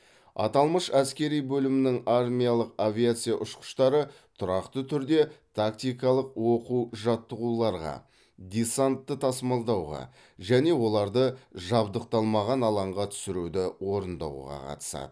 аталмыш әскери бөлімнің армиялық авиация ұшқыштары тұрақты түрде тактикалық оқу жаттығуларға десантты тасымалдауға және оларды жабдықталмаған алаңға түсіруді орындауға қатысады